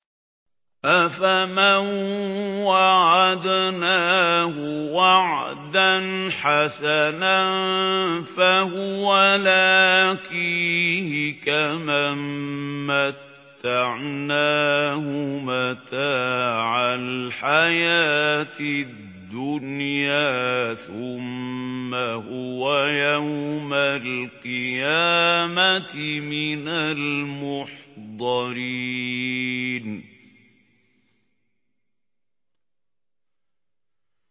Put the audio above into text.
أَفَمَن وَعَدْنَاهُ وَعْدًا حَسَنًا فَهُوَ لَاقِيهِ كَمَن مَّتَّعْنَاهُ مَتَاعَ الْحَيَاةِ الدُّنْيَا ثُمَّ هُوَ يَوْمَ الْقِيَامَةِ مِنَ الْمُحْضَرِينَ